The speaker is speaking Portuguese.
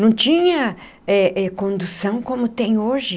Não tinha eh eh condução como tem hoje.